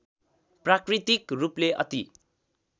प्राकृतिक रूपले अति